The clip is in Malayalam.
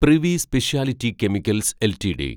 privy speciality chemicals LTD